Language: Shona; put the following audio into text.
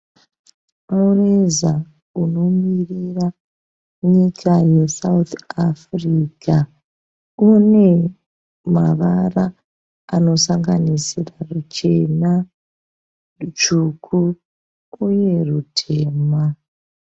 Mureza unomirira nyika ye South Africa. Une mavara anosanganisira ruchena, rutsvuku uye rutema.